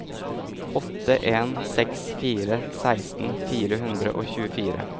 åtte en seks fire seksten fire hundre og tjuefire